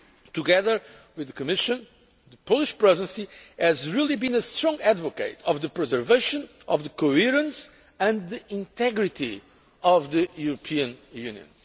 Together with the Commission, the Polish Presidency has been a strong advocate of the preservation of the coherence and the integrity of the European Union.